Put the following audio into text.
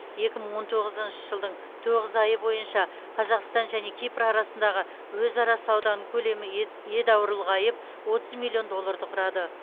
екі мың он тоғызыншы жылдың тоғыз айы бойынша қазақстан және кипр арасындағы өзара сауданың көлемі ед едәуір ұлғайып отыз миллион долларды құрады